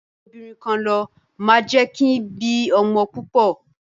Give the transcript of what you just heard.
ìfẹ́jobìnrinkanlọ máa jẹ́ kin bí ọmọ púpọ̀.